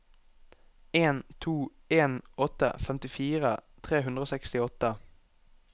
en to en åtte femtifire tre hundre og sekstiåtte